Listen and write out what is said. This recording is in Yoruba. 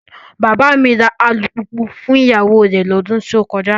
Bàbá mi ra alùpùpù fún ìyàwó rẹ̀ lọ́dún tó kọjá.